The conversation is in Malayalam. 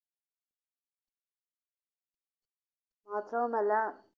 മാത്രവുമല്ല